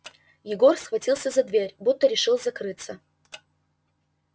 егор схватился за дверь будто решил закрыться